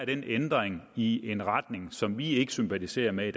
den ændring i en retning som vi i ikke sympatiserer med